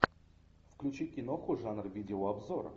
включи киноху жанр видеообзор